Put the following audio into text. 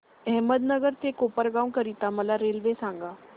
अहमदनगर ते कोपरगाव करीता मला रेल्वे सांगा